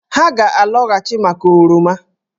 Ha ga-alọghachị maka oroma